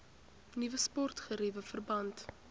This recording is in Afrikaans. nuwe sportgeriewe verband